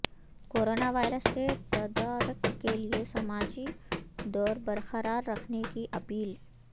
corona virus کے تدارک کیلئے سماجی دور برقرار رکھنے کی اپیل